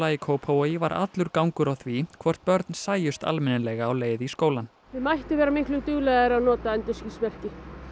í Kópavogi var allur gangur á því hvort börn sæjust almennilega á leið í skólann þau mættu vera miklu duglegri að nota endurskinsmerki